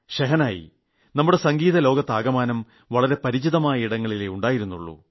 ഷെഹനായി നമ്മുടെ സംഗീത ലോകത്താകമാനം വളരെ പരിമിതമായ ഇടങ്ങളിലെ ഉണ്ടായിരുന്നുളളൂ